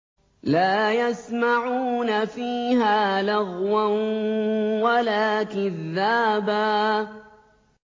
لَّا يَسْمَعُونَ فِيهَا لَغْوًا وَلَا كِذَّابًا